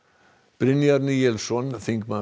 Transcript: Brynjar Níelsson þingmaður